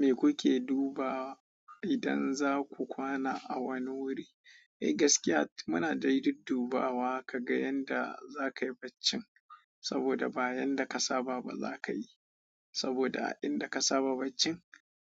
Me kuke duba idan za ku kwana a wani wuri? Eh gaskiya muna dai duddubawa ka ga yanda za ka yi baccin saboda ba yanda ka saba ba za ka yi saboda a inda ka saba baccin